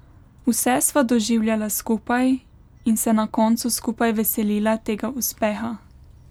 Vse sva doživljala skupaj in se na koncu skupaj veselila tega uspeha.